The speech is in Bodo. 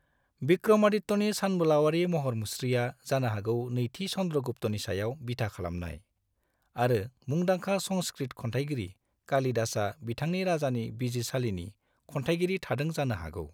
विक्रमादित्यनि सानबोलावारि महर मुस्रिआ जानो हागौ नैथि चन्द्रगुप्तनि सायाव बिथा खालामनाय, आरो मुंदांखा संस्कृत खनथाइगिरि कालिदासआ बिथांनि राजानि बिजिरसालिनि खनथाइगिरि थादों जानो हागौ।